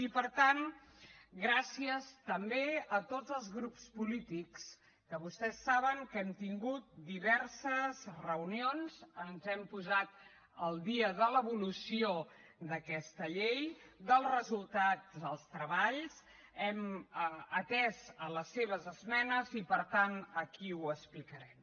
i per tant gràcies també a tots els grups polítics que vostès saben que hem tingut diverses reunions ens hem posat al dia de l’evolució d’aquesta llei dels resultats dels treballs hem atès les seves esmenes i per tant aquí ho explicarem